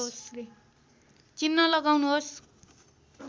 चिन्ह लगाउनुहोस्